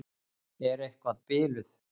Ertu eitthvað biluð?